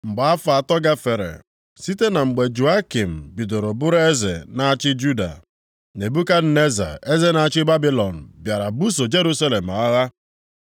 Mgbe afọ atọ gafere site na mgbe Jehoiakim bidoro bụrụ eze na-achị Juda, Nebukadneza eze na-achị Babilọn bịara buso Jerusalem agha.